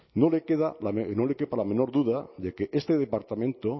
no le quema la menor duda de que este departamento